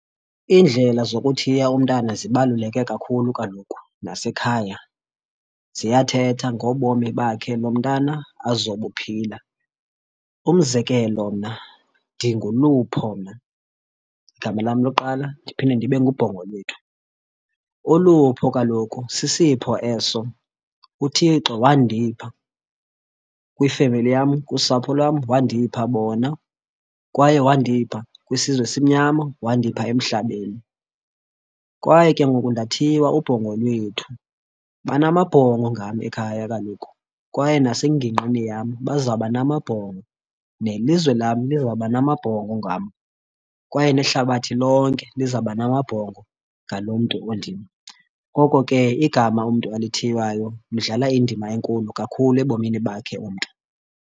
Iindlela zokuthiya umntana zibaluleke kakhulu, kaloku nasekhaya ziyathetha ngobomi bakhe lo mntana azobuphila. Umzekelo mna ndinguLupho mna igama lam lokuqala, ndiphinde ndibe nguBhongolwethu. Ulupho kaloku sisipho eso uThixo wandipha kwifemeli yam, kusapho lwam wandipha bona kwaye wandipha kwisizwe esimnyama, wandipha emhlabeni, kwaye ke ngoku ndathiywa uBhongolwethu. Banamabhongo ngam ekhaya kaloku kwaye nasengingqini yam bazawuba namabhongo, nelizwe lam lizawuba namabhongo ngam yam kwaye nehlabathi lonke lizawuba namabhongo ngaloo mntu undim. Ngoko ke igama umntu alithiywayo lidlala indima enkulu kakhulu ebomini bakhe umntu.